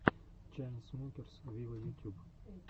чайнсмокерс виво ютюб